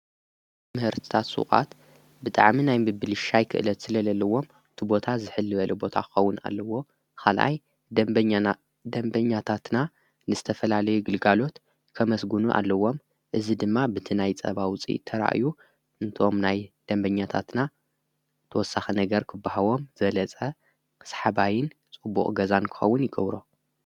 ምኅርትታት ሥዉዓት ብጥዓሚ ናይ ብብልሻይ ክእለት ስለለለዎም ትቦታ ዝሕል በለ ቦታኸውን ኣለዎ ኻልኣይ ደንበኛታትና ንስተፈላለይ ይግልጋሎት ከመስጕኑ ኣለዎም እዝ ድማ ብቲ ናይ ጸባውፂ ተርእዩ እንቶም ናይ ደንበኛታትና ተወሳኸ ነገር ክብሃቦም ዘለጸ ኽሳሕባይን ጽቡቕ ገዛን ክኸውን ይገብሮ::